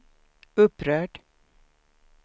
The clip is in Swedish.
upprörd